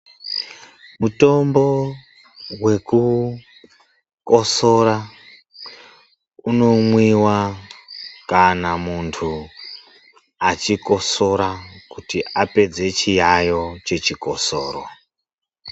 Mutombo wekukosora unomwiwa kana muntu achikosora kuti apedze chiyayo chechikosoro.